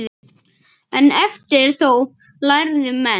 En eftir þóf lærðu menn.